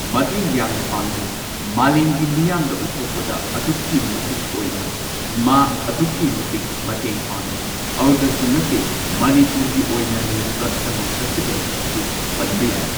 ꯃꯇꯦꯡ ꯌꯥꯝꯅ ꯄꯥꯡꯂꯤ ꯃꯥꯂꯦꯝꯒꯤ ꯃꯤꯌꯥꯝꯗ ꯎꯠꯊꯣꯛꯄꯗ ꯑꯗꯨꯛꯀꯤ ꯃꯇꯤꯛ ꯑꯣꯏꯅ ꯃꯥ ꯑꯗꯨꯛꯀꯤ ꯃꯇꯤꯛ ꯃꯇꯦꯡ ꯄꯥꯡꯂꯤ ꯑꯗꯨꯗꯁꯨ ꯅꯠꯇꯦ ꯃꯅꯤꯄꯨꯔꯒꯤ ꯑꯣꯏꯅ ꯂꯩꯔꯤꯕ ꯁꯉꯥꯏ ꯐꯦꯁꯇꯤꯕꯦꯜ ꯑꯁꯤꯁꯨ ꯄꯟꯕ ꯌꯥꯏ꯫